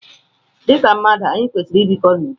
Dịka mmadụ, anyị kwesịrị i bikọ n'udo.